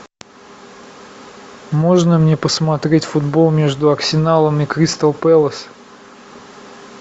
можно мне посмотреть футбол между арсеналом и кристал пэлас